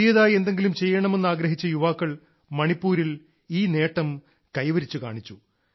പുതിയതായി എന്തെങ്കിലും ചെയ്യണമെന്ന് ആഗ്രഹിച്ച യുവാക്കൾ മണിപ്പൂരിൽ ഈ നേട്ടം കൈവരിച്ചു കാണിച്ചു